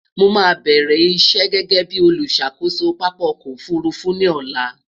mó má bẹrẹ iṣé gégé bí oluṣàkoso pápá ọkọ òfurufú ní ọlá